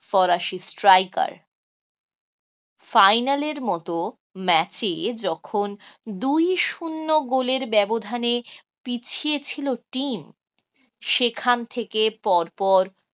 ফরাসি strikerfinal র মত match এ যখন দুই শূন্য গোলের ব্যবধানে পিছিয়ে ছিল team সেখান থেকে পরপর